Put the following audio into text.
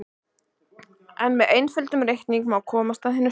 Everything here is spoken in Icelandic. En með einföldum reikningum má komast að hinu sanna.